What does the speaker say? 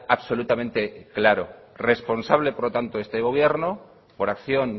absolutamente claro responsable por lo tanto este gobierno por acción